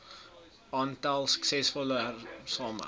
aantal suksesvolle hersaamge